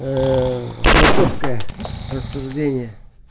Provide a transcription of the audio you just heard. философское рассуждение